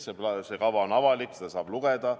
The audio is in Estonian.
See kava on avalik, seda saab lugeda.